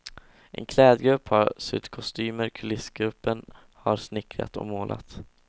En klädgrupp har sytt kostymer, kulissgruppen har snickrat och målat.